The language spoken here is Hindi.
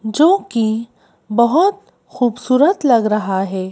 जो कि बहुत खूबसूरत लग रहा है।